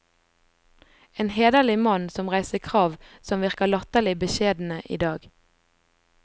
En hederlig mann, som reiste krav, som virker latterlig beskjedne i dag.